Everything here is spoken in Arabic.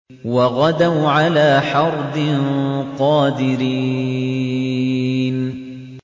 وَغَدَوْا عَلَىٰ حَرْدٍ قَادِرِينَ